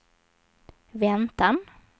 väntan